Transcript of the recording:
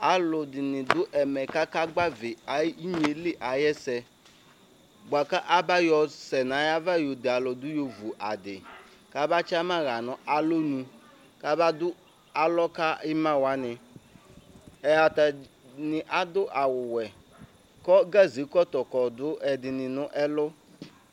Alʋ ɛdini dʋ ɛmɛ kʋ aka gbavi enyili ayʋ ɛsɛ bʋakʋ aba yɔsɛ nʋ ayʋ ava yɔde alʋ dʋ yɔvʋ adi kaba tsama lanʋ alɔnʋ kaba dʋ alɔ ka ima wani atani adʋ awʋwɛ kʋ gazekɔtɔ kɔdʋ ɛdini nʋ ɛlʋ